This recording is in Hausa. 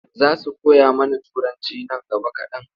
Za su koya mana Turanci nan gaba kaɗan.